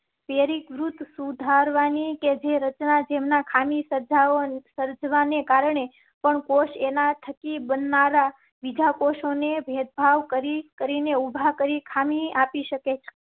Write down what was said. પેરી કૃત સુધારવા ની કે જે રચના જેમ ના ખા ની સજાઓ સર્જાવા ને કારણે પણ એના થકી બનનારાં બીજા કોષ અને ભેદભાવ કરી કરી ને ઉભા કરી ખામી આપી શકે.